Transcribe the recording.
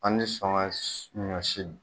An ti sɔn ka ɲɔ si